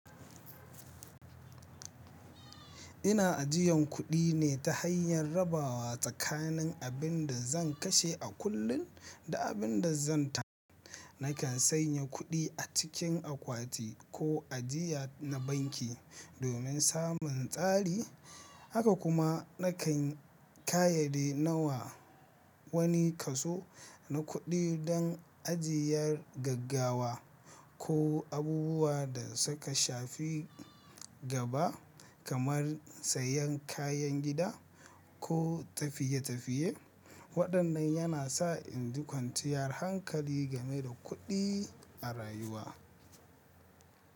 Ina ajiyan kuɗi ne ta hanyar rabawa tsakanin abin da zan kashe a kullum da abin da zan. Nakan sanya kuɗi a cikin akwati ko ajiya na banki domin samun tsari. Haka kuma nakan kayyade nawa wani kaso na kuɗi don ajiyar gaggawa ko abubuwa da suka shafi gaba kamar sayan kayan gida ko tafiye-tafiye. Waɗannan yana sa in ji kwanciyar hankali game da kuɗi a rayuwa.